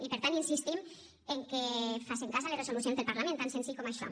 i per tant insistim en que facen cas a les resolucions del parlament tan senzill com això